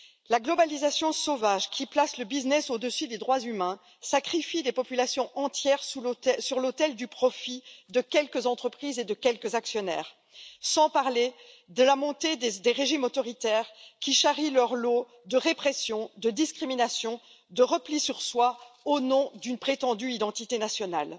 La globalisation sauvage qui place le business au dessus des droits humains sacrifie des populations entières sur l'autel du profit de quelques entreprises et de quelques actionnaires, sans parler de la montée des régimes autoritaires qui charrient leur lot de répression, de discrimination et de repli sur soi au nom d'une prétendue identité nationale.